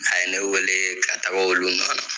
A ye ne wele ka taga olu nɔ la